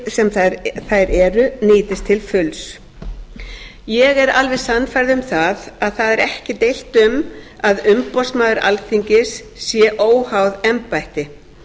sem þær eru nýtist til fulls ég er alveg sannfærð um það að það er ekki deilt um að umboðsmaður alþingis sé óháð embætti